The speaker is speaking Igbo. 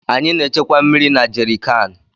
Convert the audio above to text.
Anyị na-echekwa mmiri na jerịkaanụ.